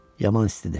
Yaman istidir.